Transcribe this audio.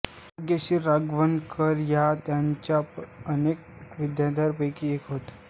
भाग्यश्री लागवणकर या त्यांच्या अनेक विद्यार्थिनींपैकी एक होत